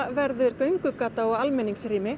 verður göngugata og